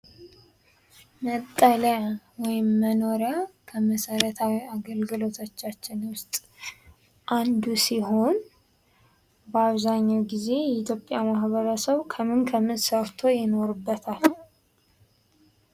መጠለያ ወይም መኖሪያ ከመሰረታዊ አገልግሎቶች ውስጥ አንዱ ሲሆን ።በአብዛኛው ጊዜ የኢትዮጵያ ማህበረሰብ ከምን ከምን ሰርቶ ይኖርበታል?